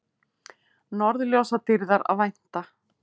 Norðurljósadýrðar að vænta